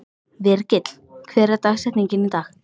Virgill, hver er dagsetningin í dag?